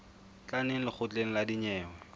tla neng lekgotleng la dinyewe